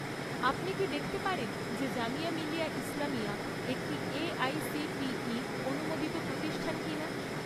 আপনি কি দেখতে পারেন যে জামিয়া মিলিয়া ইসলামিয়া একটি এআইসিটিই অনুমোদিত প্রতিষ্ঠান কিনা?